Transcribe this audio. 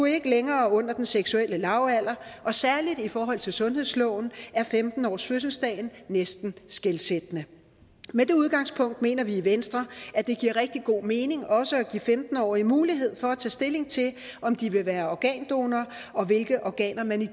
ikke længere under den seksuelle lavalder og særlig i forhold til sundhedsloven er femten årsfødselsdagen næsten skelsættende med det udgangspunkt mener vi i venstre at det giver rigtig god mening også at give femten årige mulighed for at tage stilling til om de vil være organdonor og hvilke organer man i